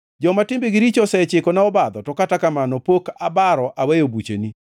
Joma timbegi richo osechikona obadho; to kata kamano pok abaro aweyo bucheni.